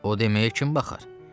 O deməyə kim baxar?